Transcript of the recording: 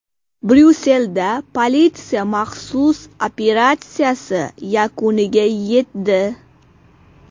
Bryusselda politsiya maxsus operatsiyasi yakuniga yetdi.